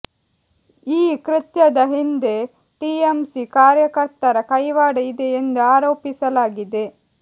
ಈ ಕೃತ್ಯದ ಹಿಂದೆ ಟಿಎಂಸಿ ಕಾರ್ಯರ್ತರ ಕೈವಾಡ ಇದೆ ಎಂದು ಆರೋಪಿಸಲಾಗಿದೆ